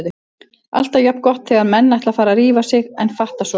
Alltaf jafn gott þegar menn ætla að fara að rífa sig en fatta svo